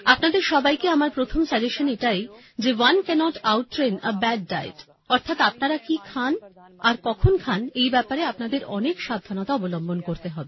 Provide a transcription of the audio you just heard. আপনাদের সবাইকে আমার প্রথম সাজেসশন এটাই যে one cannot outtrain a bad diet অর্থাৎ আপনারা কি খান আর কখন খান এই ব্যাপারে আপনাদের অনেক সাবধানতা অবলম্বন করতে হবে